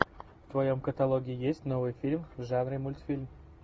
в твоем каталоге есть новый фильм в жанре мультфильм